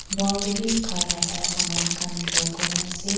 wall te bhi khai laga saman khan draw kori na ase.